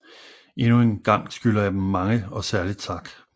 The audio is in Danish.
Endnu en gang skylder jeg Dem mange og særligt tak